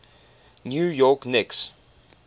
new york knicks